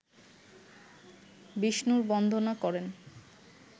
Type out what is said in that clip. বিষ্ণুর বন্দনা করেন